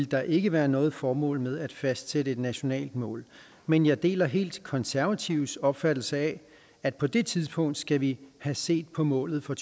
der ikke være noget formål med at fastsætte et nationalt mål men jeg deler helt konservatives opfattelse af at på det tidspunkt skal vi have set på målet for